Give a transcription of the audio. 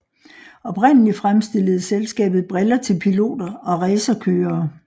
Oprindeligt fremstillede selskabet briller til piloter og racerkørere